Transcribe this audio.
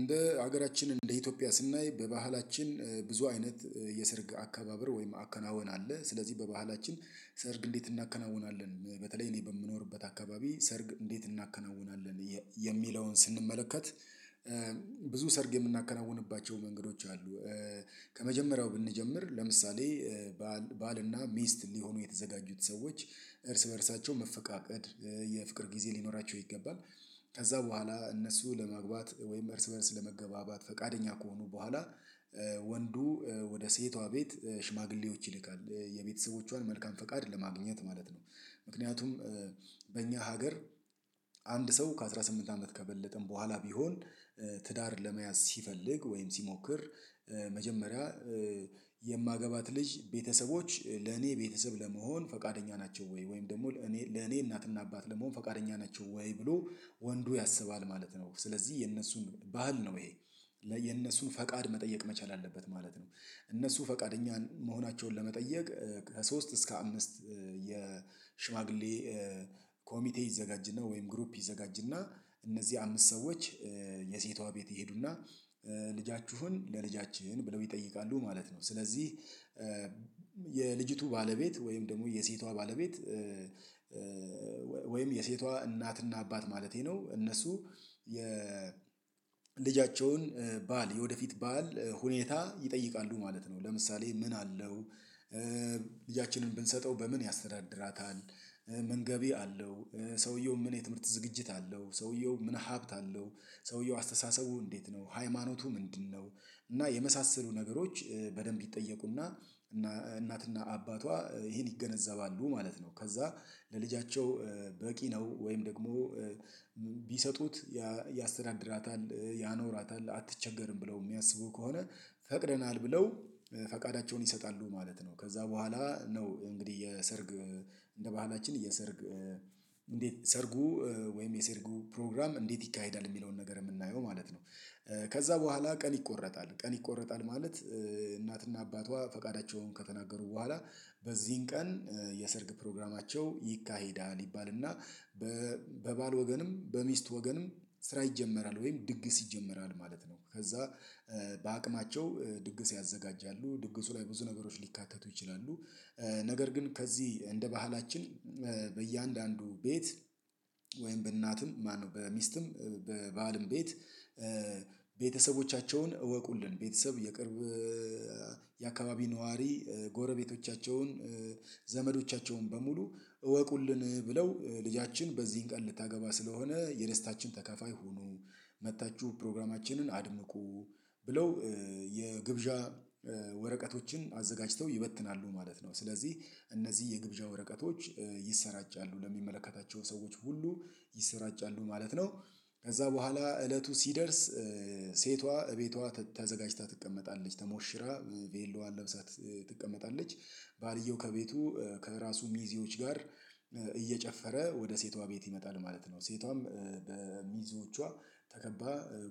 እንደ ሀገራችን እንደ ኢትዮጵያ ስናይ በባህላችን ብዙ አይነት የስርግ አካባበር ወይም አከናወን ስለዚህ በባህላችን ሰርግ እንዴት እናከናውናለን በተለይ እኔ በምኖርበት አካባቢ ሰርግ እንዴት እናከናውናለን የሚለውን ስንመለከት ብዙ ሰርግ የምናከናውንባቸው መንገዶች አሉ። ከመጀመሪያው ብንጀምር ለምሳሌ ባልና ሚስት ሊሆኑ የተዘጋጁት ሰዎች እርስ በእርሳቸው መፈቃቀድ የፍቅር ጊዜ ሊኖራቸው ይገባል። ከዚያ በኋላ እነሱ ለመግባት ወይም እርስ በእርስ ለመገባባት ፈቃደኛ ከሆኑ በኋላ ወንዱ ወደ ሴቷ ቤት ሽማግሌዎች ይልካል የቤተሰቦቿን መልካም ፈቃድ ለማግኘት ማለት ነው። ምክንያቱም በእኛ ሀገር አንድ ሰው ከአሥራ ስምንት አመት ከበለጠም በኋላ ቢሆን ትዳር ለመያዝ ሲፈልግ ወይም ሲሞክር። መጀመሪያ የማገባት ልጅ ቤተሰቦች ለኔ ቤተሰብ ለመሆን ፈቃደኛ ናቸው ወይ ወይም ደግሞ ለኔ ለኔ እናትና አባት ለመሆን ፈቃደኛ ናቸው ወይ ብሎ ወንዱ ያስባል ማለት ነው። ስለዚህ የእነሱን ባህል ነው ይሄ የነሱን ፈቃድ መጠየቅ መቻል አለበት ማለት ነው። እነሱ ፈቃደኛን መሆናቸውን ለመጠየቅ ከሶስት እስከ አምስት የሽማግሌ ኮሚቴ ይዘጋጅና ወይም ግሩፕ ይዘጋጅና እነዚህ አምስት ሰዎች የሴቷ ቤት ይሄዱና ልጃችሁን ለልጃችን ብለው ይጠይቃሉ ማለት ነው። ስለዚህ የልጅቱ ባለቤት ወይም ደግሞ የሴቷ ባለቤት ወይም የሴቷ እናትና አባት ማለቴ ነው እነሱ የልጃቸውን ባል የወደፊት ባል ሁኔታ ይጠይቃሉ ማለት ነው። ለምሳሌ ምን አለው ብንሰጠው በምን ያስተዳድራታል? ምን ገቢ አለው? ሰውየው ምን የትምህርት ዝግጅት አለው? ሰውየው ምን ሀብት አለው? ሰውየው አስተሳሰቡ እንዴት ነው ሃይማኖቱ ምንድነው? እና የመሳሰሉ ነገሮች በደንብ ይጠየቁና እና እናትና አባቷ ይሄን ይገነዘባሉ ማለት ነው። ከዚያ ለልጃቸው በቂ ነው ወይም ደግሞ ቢሰጡት ያስተዳድራታል ያኖራታል አትቸገርም ብለው የሚያስቡ ከሆነ ፈቅደናል ብለው ፈቃዳቸውን ይሰጣሉ ማለት ነው። ከዚያ በኋላ ነው እንግዲህ የሰርግ እንደ ባህላችን የሰርግ እንዴት ሰርጉ ወይም የሰርጉ ፕሮግራም እንዴት ይካሄዳል የሚለውን ነገር የምናየው ማለት ነው። ከዚያ በኋላ ቀን ይቆረጣል ቀን ይቆረጣል ማለት እናትና አባቷ ፈቃዳቸውን ከተናገሩ በኋላ በዚህን ቀን የሰርግ ፕሮግራማቸው ይካሄዳል ይባልና በባል ወገንም በሚስት ወገንም ስራ ይጀመራል ወይም ድግስ ይጀመራል ማለት ነው። ከዚያ በአቅማቸው ድግስ ያዘጋጃሉ ድግሱ ላይ ብዙ ነገሮች ሊካተቱ ይችላሉ። ነገር ግን ከዚህ እንደ ባህላችን በእያንዳንዱ ቤት ወይም በእናትም ማነው በሚስትም በባልም ቤት ቤተሰቦቻቸውን እወቁልን ቤተሰብ የቅርብ የአካባቢ ነዋሪ ጎረቤቶቻቸውን ዘመዶቻቸውን በሙሉ እወቁልን ብለው ልጃችን በዚህን ቀን ልታገባ ስለሆነ የደስታችን ተካፋይ ሁኑ መጥታችሁ ፕሮግራማችንን አድምቁ ብለው የግብዣ ወረቀቶችን አዘጋጅተው ይበትናሉ ማለት ነው። ስለዚህ እነዚህ የግብዣ ወረቀቶች ይሰራጫሉ ለሚመለከታቸው ሰዎች ሁሉ ይሰራጫሉ ማለት ነው። ከዚያ በኋላ እለቱ ሲደርስ ሴቷ ቤቷ ተዘጋጅታ ትቀመጣለች ተሞሽራ ቬሎዋን ለብሳ ትቀመጣለች ባልየው ከቤቱ ከራሱ ሚዜዎች ጋር እየጨፈረ ወደ ሴቷ ቤት ይመጣል ማለት ነው። ሴቷም በሚዜወቿ ተከባ